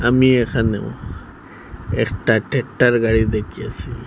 আমি এখানেও একটা ট্রেকটার গাড়ি দেখিয়েছি।